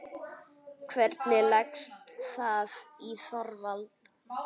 Hvernig leggst það í Þorvald?